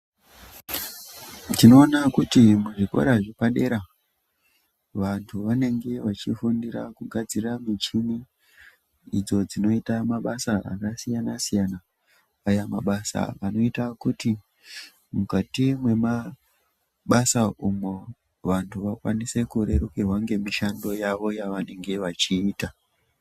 Tino ona kuti mu zvikora zvepa dera vantu vanenge vachi fundira ku gadzira michini idzo dzinoita mabasa aka siyana siyana aya mabasa anoita kuti mukati mema basa umwo vantu vakwanise kurerukirwa nge mishando yavo yavanenge vachiita.